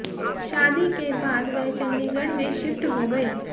शादी के बाद वह चंडीगढ़ में शिफ्ट हो गए